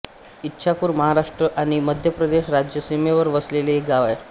ईच्छापुर महाराष्ट्र आणि मध्य प्रदेश राज्य सीमेवर वसलेले एक गाव आहे